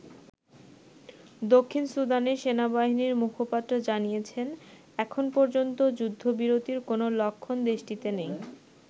দক্ষিণ সুদানের সেনাবাহিনীর মুখপাত্র জানিয়েছেন এখন পর্যন্ত যুদ্ধবিরতির কোন লক্ষণ দেশটিতে নেই।